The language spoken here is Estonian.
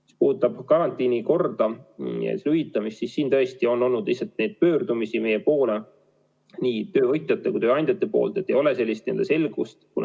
Mis puudutab karantiini korda ja hüvitamist, siis tõesti on olnud pöördumisi meie poole nii töövõtjate kui ka tööandjate poolt, et ei ole selgust.